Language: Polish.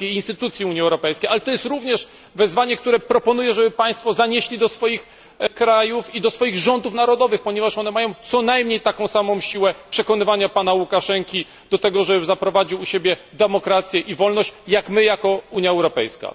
i instytucji Unii Europejskiej, ale to jest również wezwanie, które proponuję, żeby Państwo zanieśli do swoich krajów i rządów narodowych, ponieważ one mają co najmniej taką samą siłę przekonywania pana Łukaszenki do tego, żeby zaprowadził u siebie demokrację i wolność, jak my jako Unia Europejska.